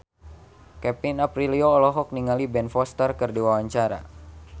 Kevin Aprilio olohok ningali Ben Foster keur diwawancara